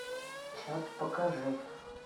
чат покажи